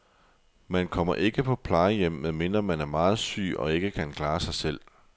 Man kommer ikke på plejehjem, medmindre man er meget syg og ikke kan klare sig selv.